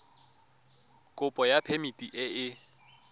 kopo ya phemiti e e